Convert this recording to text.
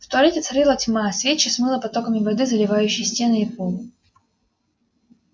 в туалете царила тьма свечи смыло потоками воды заливающей стены и пол